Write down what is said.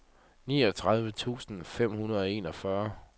niogtredive tusind fem hundrede og enogfyrre